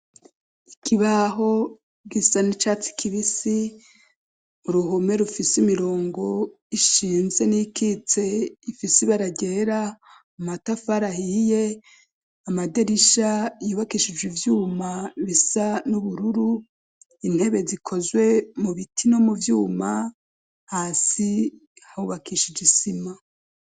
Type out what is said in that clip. Ikibaho gisa n'icatsi kibisi, uruhome rufise imirongo ishinze n'iyikitse ifise ibara ryera, amatafari ahiye, amadirisha yubakishije ivyuma bisa n'ubururu, intebe zikozwe mu biti no mu vyuma hasi hubakishije isima.